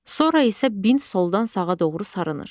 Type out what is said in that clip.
Sonra isə bint soldan sağa doğru sarınır.